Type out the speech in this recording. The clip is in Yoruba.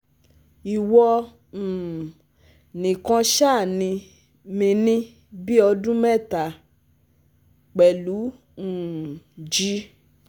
Iwọ̀ um nìkan ṣàní mi ní bí ọdún mẹ́ta! Pẹ̀lú um G